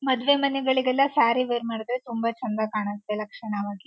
ಮದ್ವೆ ಮನೆಗಳಿಗೆಲ್ಲ ಸ್ಯಾರೀ ವೇರ್ ತುಂಬಾ ಚಂದ ಕಾಣುತ್ತೆ ಲಕ್ಷಣವಾಗಿ--